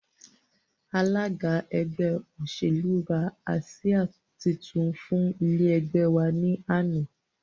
Alága ẹgbẹ́ òṣèlú rà àsìá títún fún ilé ẹgbẹ́ wa ní àná